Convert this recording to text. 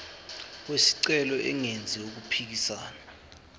wesicelo engenzi okuphikisana